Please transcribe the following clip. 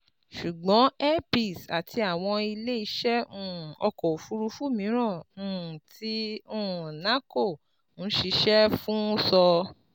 ṣùgbọ́n air peace àti àwọn ilé iṣẹ́ um ọkọ̀ òfuurufú mìíràn um tí um nahco ń ṣiṣẹ́ fún sọ